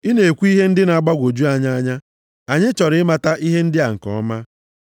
Ị na-ekwu ihe ndị na-agbagwoju anyị anya. Anyị chọrọ ịmata ihe ndị a nke ọma.”